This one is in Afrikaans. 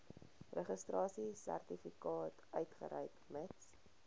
registrasiesertifikaat uitreik mits